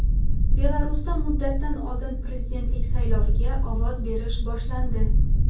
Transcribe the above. Belarusda muddatdan oldin prezidentlik sayloviga ovoz berish boshlandi.